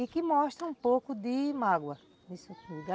E que mostra um pouco de mágoa